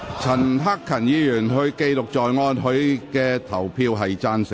陳克勤議員的表決意向為"贊成"。